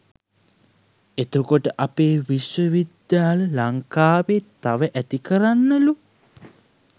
එතකොට අපේ විශ්ව විද්‍යාල ලංකාවේ තව ඇති කරන්නලු